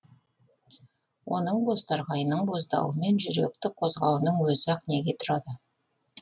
оның бозторғайының боздауы мен жүректі қозғауының өзі ақ неге тұрады